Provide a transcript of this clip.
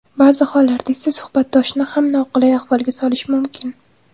Ba’zi hollarda esa suhbatdoshni ham noqulay ahvolga solishi mumkin.